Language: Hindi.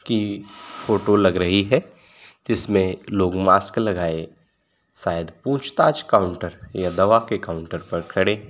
की फोटो लग रही है। जिसमें लोग मास्क लगाए शायद पूछताछ काउंटर या दवा के काउंटर पर खड़े हैं।